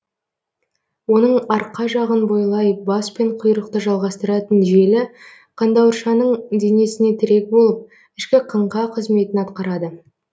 оның арқа жағын бойлай бас пен құйрықты жалғастыратын желі қандауыршаның денесіне тірек болып ішкі қаңқа қызметін атқарады